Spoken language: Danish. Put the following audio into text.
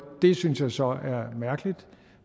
synes jeg så at det er mærkeligt